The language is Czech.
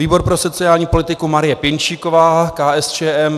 Výbor pro sociální politiku Marie Pěnčíková, KSČM.